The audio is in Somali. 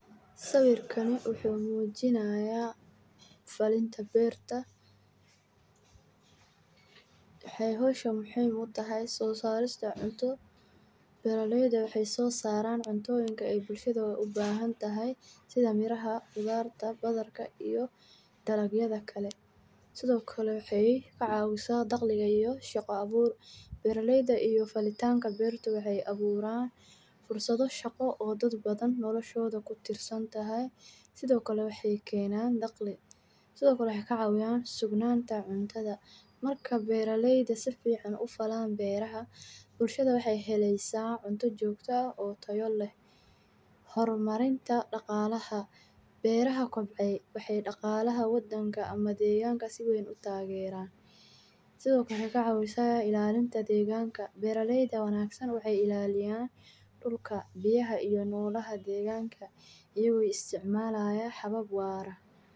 Marka la barbar dhigo beerista bariiska, waxa loo baahan yahay dhul fiican oo biyo badan, sida kuwa ku yaal goobaha hoose ee wabiga, isla markaana waxa muhiim ah in la raaco habka korinta si taxadar leh, dimbuur ahaan, marka hore waxa la nabaadaa dhulka si loo diyaariyo, ka dib waxa la furaya xannaanada biyaha si loo quuto bariiska, kadibna waxa la shanqaadaa hadhuudhka bariiska oo la shubayo dhulka, waxaana loo baahan yahay in la daryeelo isku shaandhaynta biyaha iyo baaritaanka cudurrada iyo xamaarada, sida durayaasha iyo dafaangadyada, gaar ahaan marka uu bariisku bilaabayo inuu soo baxo, waxa loo baahan yahay in la ilaaliyo biyaha si aanay u qalalan oo ay ku badan yihiin.